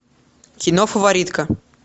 кино фаворитка